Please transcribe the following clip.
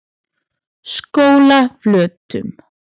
Skólaflötum